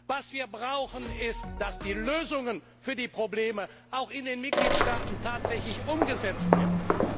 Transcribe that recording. Was wir brauchen ist, dass die Lösungen für die Probleme in den Mitgliedstaaten tatsächlich umgesetzt werden.